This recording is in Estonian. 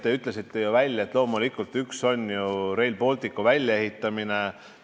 Te ütlesite ju välja, et üks neist on Rail Balticu väljaehitamine.